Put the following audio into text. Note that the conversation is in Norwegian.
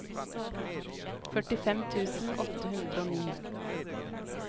førtifem tusen åtte hundre og ni